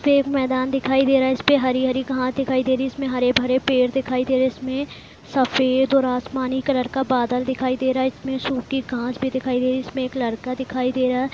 इसमें एक मैदान दिखाई दे रहा है इसमें हरी-हरी घास दिखाई दे रही है इसमें हरे-भरे पेड़ दिखाई दे रहे इसमें सफेद और आसमानी कलर का बादल दिखाई दे रहा है इसमें सूखी घास भी दिखाई दे रही है इसमें एक लड़का दिखाई दे रहा है।